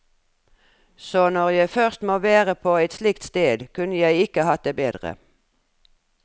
Så når jeg først må være på et slikt sted, kunne jeg ikke hatt det bedre.